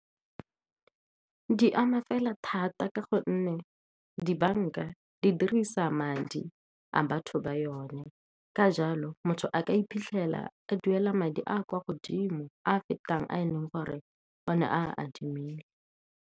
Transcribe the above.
Di ama fela thata ka gonne dibanka di dirisa madi a batho ba yone. Ka jalo, motho a ka iphitlhela a duela madi a kwa godimo, a a fetang a eleng gore o ne a adimile.